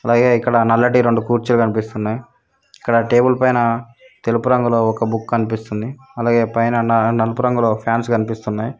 అలాగే ఇక్కడ నల్లటి రెండు కుర్చీలు కనిపిస్తున్నాయి ఇక్కడ టేబుల్ పైన తెలుపు రంగులో ఒక బుక్ కనిపిస్తుంది అలాగే పైన నలుపు రంగులో ఫాన్స్ కానియస్తున్నాయి.